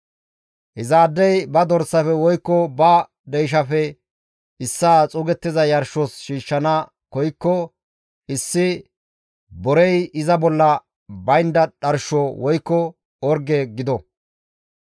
«Izaadey ba dorsafe woykko ba deyshafe issaa xuugettiza yarshos shiishshana koykko issi borey iza bolla baynda dharsho woykko orge gido.